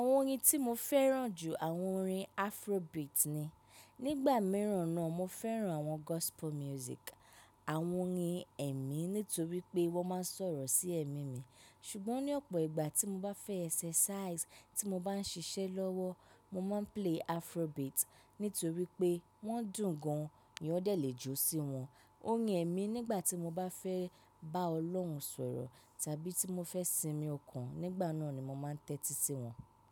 Àwọn orin tí mo fẹ́ràn jù àwọn orin Afrobeat ni. Nígbà mìíràn náà mo fẹ́ràn àwọn gospel music, àwọn orin ẹ̀mí nítorí pé wọ́n máa ń sọ̀rọ̀ sí ẹ̀mí mi. Ṣùgbọ́n ní ọ̀pọ̀ ìgbà tí mo bá fẹ́ exercise tí mo bá ń ṣiṣẹ́ lọ́wọ́, mo máa ń play Afrobeat nítorí pé wọ́n dùn gan-an, mi ò dẹ̀ le jó sí wọn. Orin ẹ̀mí nígbà tí mo bá fẹ́ bá Ọlọ́run sọ̀rọ̀ tàbí tí mo fẹ́ sinmi ọkàn, nígbà náà ni mo máa ń tẹ́tí sí wọn.